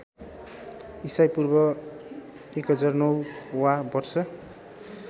ईपू १००९ वा वर्ष